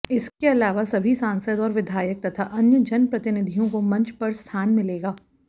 इनके अलावा सभी सांसद और विधायक तथा अन्य जनप्रतिनिधियों को मंच पर स्थान मिलेगा